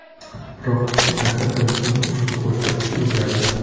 Biroq ikki asrdan so‘ng ushbu ko‘rsatkich o‘zgardi.